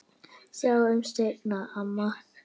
Sjáumst seinna, amma.